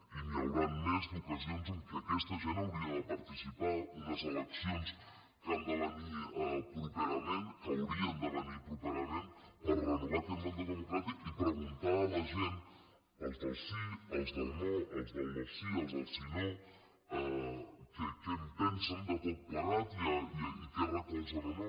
n’hi hauran més d’ocasions en què aquesta gent hauria de participar unes elecci·ons que han de venir properament que haurien de ve·nir properament per renovar aquest mandat democrà·tic i preguntar a la gent els del sí els del no els del no·sí els del sí·no que què en pensen de tot plegat i què recolzen o no